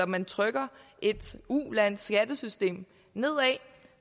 man trykker et ulands skattesystem nedad